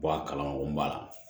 a kalanko ba la